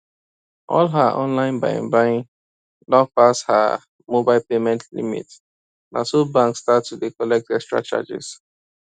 all her online buying buying don pass heer mobile payment limit naso bank start to dey collect extra charges